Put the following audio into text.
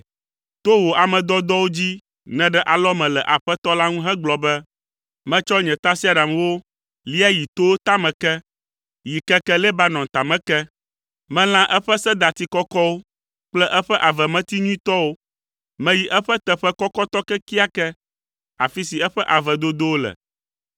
To wò ame dɔdɔwo dzi nèɖe alɔme le Aƒetɔ la ŋu hegblɔ be, ‘Metsɔ nye tasiaɖamwo, lia yi towo tame ke, yi keke Lebanon tame ke. Melã eƒe sedati kɔkɔwo kple eƒe avemeti nyuitɔwo, meyi eƒe teƒe kɔkɔtɔ kekeake afi si eƒe ave dodowo le.